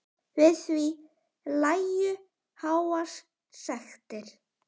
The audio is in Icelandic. Við því lægju háar sektir.